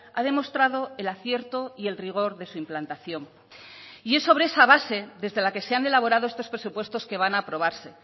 ha demostrado el acierto y el rigor de su implantación y es sobre esa base desde la que se han elaborado estos presupuestos que van a aprobarse